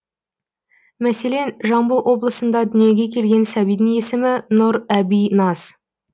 мәселен жамбыл облысында дүниеге келген сәбидің есімі нұрәбиназ